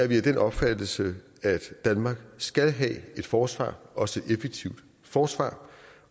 vi af den opfattelse at danmark skal have et forsvar også et effektivt forsvar